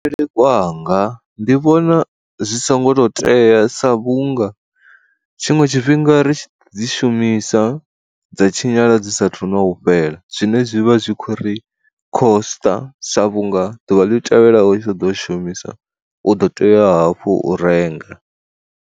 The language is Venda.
Kwanga ndi vhona zwi songo to tea sa vhunga tshiṅwe tshifhinga ri dzi shumisa dza tshinyala dzi sathu na u fhela zwine zwi vha zwi khou ri khosṱa sa vhunga ḓuvha ḽi tevhelaho tsha ḓo shumisa u ḓo tea hafhu u renga.